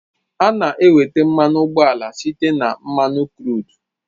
A na-enweta mmanụ ụgbọala site na mmanụ kru